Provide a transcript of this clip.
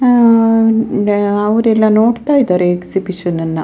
ಅವ್ರೆಲ್ಲ ನೋಡ್ತಾ ಇದಾರೆ ಎಕ್ಸಿಬಿಷನ್‌ ಅನ್ನ.